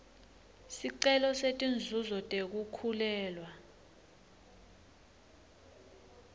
sicelo setinzuzo tekukhulelwa